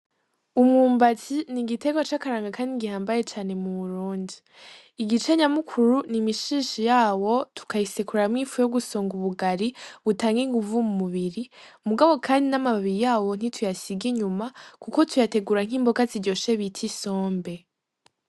Umwumbati n'igiterwa c'akaranga kandi gihambaye cane mu Burundi, igice nyamukuru n'imishishi yawo tukayisekuramwo ifu yo gusonga ubugari butanga inguvu mu mubiri mugabo kandi n'amababi yawo nti tuyasiga inyuma kuko tuyategura nk'imboga ziryoshe bita isombe.